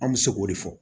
An bɛ se k'o de fɔ